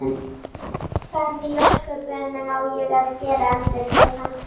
Hvað í ósköpunum á ég að gera? endurtók hann.